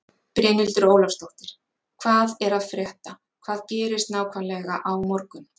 Brynhildur Ólafsdóttir: Hvað er að frétta, hvað gerist nákvæmlega á morgun?